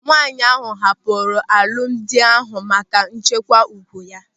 Nwaanyị ahụ hapụrụ alụmdi ahụ maka ịchekwa ùgwù ya.